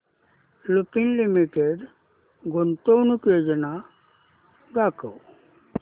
Lupin limited गुंतवणूक योजना दाखव